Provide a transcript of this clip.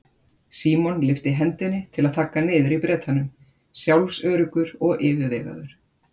Símon lyfti hendinni til að þagga niður í Bretanum, sjálfsöruggur og yfirvegaður.